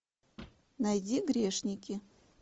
найди грешники